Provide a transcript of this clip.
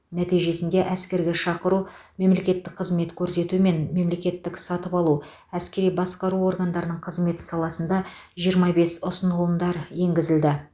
нәтижесінде әскерге шақыру мемлекеттік қызмет көрсету мен мемлекеттік сатып алу әскери басқару органдарының қызметі саласында жиырма бес ұсынылымдар енгізілді